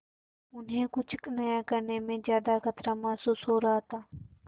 उन्हें कुछ नया करने में ज्यादा खतरा महसूस हो रहा था